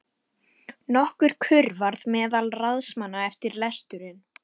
Nokkur kurr varð meðal ráðsmanna eftir lesturinn.